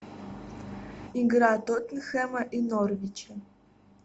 игра тоттенхэма и норвича